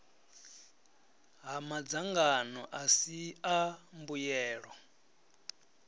ha madzangano asi a mbuyelo